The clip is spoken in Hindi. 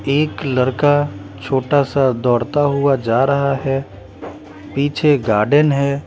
एक लड़का छोटा सा दौड़ता हुआ जा रहा हैं पीछे गार्डन है।